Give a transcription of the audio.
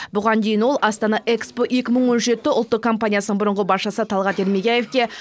бұған дейін ол астана экспо екі мың он жеті ұлттық компаниясының бұрынғы басшысы талғат ермегияевке